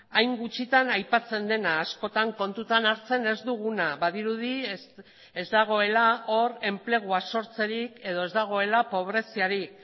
hain gutxitan aipatzen dena askotan kontutan hartzen ez duguna badirudi ez dagoela hor enplegua sortzerik edo ez dagoela pobreziarik